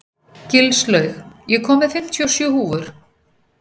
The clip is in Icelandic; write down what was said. Gilslaug, ég kom með fimmtíu og sjö húfur!